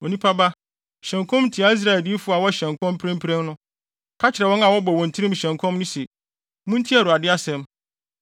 “Onipa ba, hyɛ nkɔm tia Israel adiyifo a wɔhyɛ nkɔm mprempren no. Ka kyerɛ wɔn a wɔbɔ wɔn tirim hyɛ nkɔm no se: ‘Muntie Awurade asɛm!